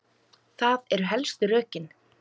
Það eru helstu rökin.